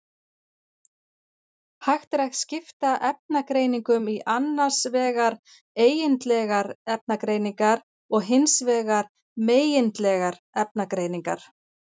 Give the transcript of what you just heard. Hægt er að skipta efnagreiningum í annars vegar eigindlegar efnagreiningar og hins vegar megindlegar efnagreiningar.